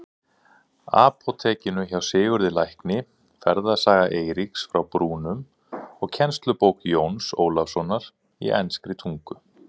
Apótekinu hjá Sigurði lækni, Ferðasaga Eiríks frá Brúnum og kennslubók Jóns Ólafssonar í enskri tungu.